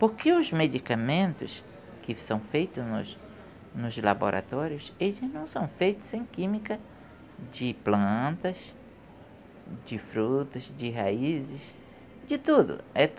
Porque os medicamentos que são feitos nos nos laboratórios, eles não são feitos sem química de plantas, de frutos, de raízes, de tudo.